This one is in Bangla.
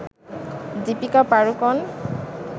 দীপিকা পাড়ুকোণ